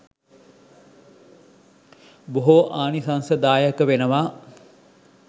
බොහෝ ආනිශංසදායක වෙනවා.